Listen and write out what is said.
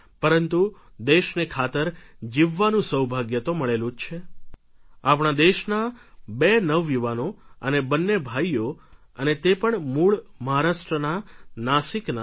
પરંતુ દેશને ખાતર જીવવાનું સૌભાગ્ય તો મળેલું જ છે આપણા દેશના બે નવયુવાનો અને બંને ભાઈઓ અને તે પણ મૂળ મહારાષ્ટ્રના નાસિકના ડૉ